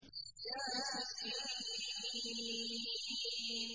يس